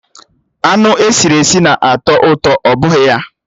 Anụ esiri esi na-atọ ụtọ, ọ bụghị ya?